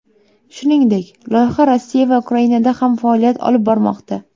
Shuningdek, loyiha Rossiya va Ukrainada ham faoliyat olib bormoqda.